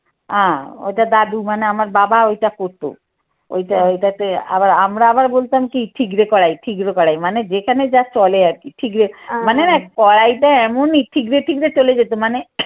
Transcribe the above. আহ ওইটা দাদু মানে আমার বাবা ওইটা করতো ওইটা ওইটাতে আবার আমরা আবার বলতাম কি ঠিকরে কড়াই, ঠিকরে কড়াই। মানে যেখানে যা চলে আর কি। ঠিকরে মানে না কড়াইটা এমনই ঠিকরে ঠিকরে চলে যেত মানে